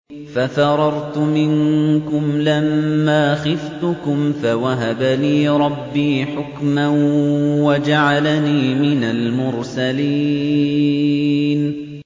فَفَرَرْتُ مِنكُمْ لَمَّا خِفْتُكُمْ فَوَهَبَ لِي رَبِّي حُكْمًا وَجَعَلَنِي مِنَ الْمُرْسَلِينَ